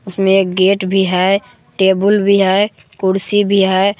इसमें एक गेट भी है टेबल भी है कुर्सी भी है।